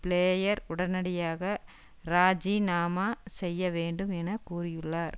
player உடனடியாக இராஜிநாமா செய்ய வேண்டும் என்று கூறியுள்ளார்